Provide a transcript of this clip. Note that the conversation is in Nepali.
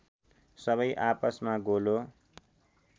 सबै आपसमा गोलो